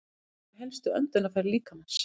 Þau eru helstu öndunarfæri líkamans.